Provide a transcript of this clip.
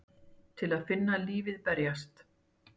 Til að finna lífið berjast.